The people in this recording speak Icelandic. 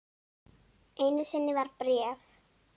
Einu sinni var bréf.